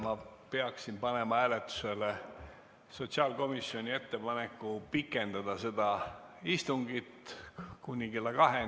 Ma peaksin panema hääletusele sotsiaalkomisjoni ettepaneku pikendada seda istungit kuni kella kaheni.